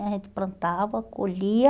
A gente plantava, colhia...